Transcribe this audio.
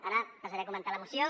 ara passaré a comentar la moció